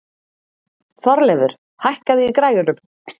Þorleifur, hækkaðu í græjunum.